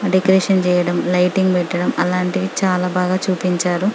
decoration చేయడం lightning పెట్టడం అలాంటివి చాల బాగా చూపించారు